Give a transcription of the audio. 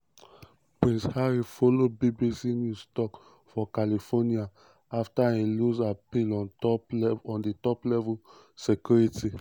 prince harry follow bbc news tok for california um afta e lose appeal on top di level of security wey um e